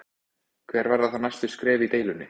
Hver verða þá næstu skref í deilunni?